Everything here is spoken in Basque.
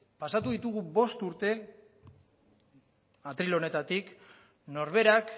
pasatu ditugu bost urte atrile honetatik norberak